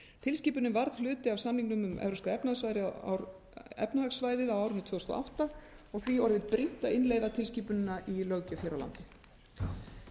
tilskipunin varð hluti af samningnum um evrópska efnahagssvæðið á árinu tvö þúsund og átta og því orðið brýnt að innleiða tilskipunina í löggjöf hér á landi